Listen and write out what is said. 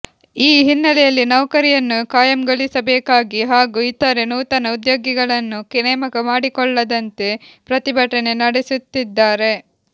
ಈ ಹಿನ್ನೆಲೆಯಲ್ಲಿ ನೌಕರಿಯನ್ನು ಖಾಯಂಗೊಳಿಸಬೇಕಾಗಿ ಹಾಗೂ ಇತರೆ ನೂತನ ಉದ್ಯೋಗಿಗಳನ್ನು ನೇಮಕ ಮಾಡಿಕೊಳ್ಳದಂತೆ ಪ್ರತಿಭಟನೆ ನಡೆಸುತ್ತಿದ್ದಾರೆ